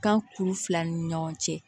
Kan kuru fila ni ɲɔgɔn cɛ